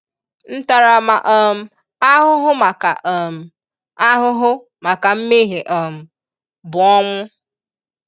Ntarama um ahụhụ maka um ahụhụ maka nmehie um bụ ọnwụ